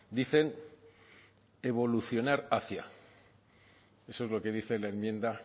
dicen evolucionar hacia eso es lo que dice la enmienda